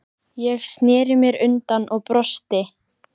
Ég sneri mér undan og brosti.